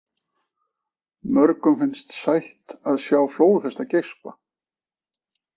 Mörgum finnst sætt að sjá flóðhesta geispa.